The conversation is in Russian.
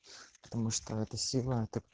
потому что это сила так